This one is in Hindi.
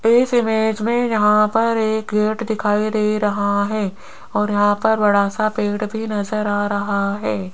इस इमेज में यहां पर एक गेट दिखाई दे रहा है और यहां पर बड़ा सा पेड़ भी नजर आ रहा है।